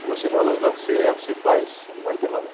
Se você não valorizar o que você é, o que você faz, você não vai ter valor.